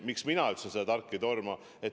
Seepärast ma ütlesin, et tark ei torma.